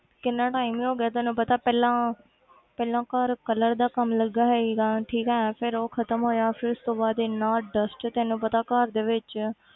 ਕਿੰਨਾ time ਹੀ ਹੋ ਗਿਆ ਤੈਨੂੰ ਪਤਾ ਪਹਿਲਾਂ ਪਹਿਲਾਂ ਘਰ colour ਦਾ ਕੰਮ ਲੱਗਿਆ ਹੋਇਆ ਸੀਗਾ ਠੀਕ ਹੈ ਫਿਰ ਉਹ ਖ਼ਤਮ ਹੋਇਆ ਫਿਰ ਉਸ ਤੋਂ ਬਾਅਦ ਇੰਨਾ dust ਤੈਨੂੰ ਪਤਾ ਘਰ ਦੇ ਵਿੱਚ